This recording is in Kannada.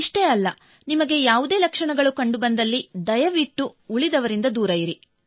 ಇಷ್ಟೇ ಅಲ್ಲ ನಿಮಗೆ ಯಾವುದೇ ಲಕ್ಷಣಗಳು ಕಂಡು ಬಂದಲ್ಲಿ ದಯವಿಟ್ಟು ನೀವು ಉಳಿದವರಿಂದ ದೂರ ಉಳಿಯಿರಿ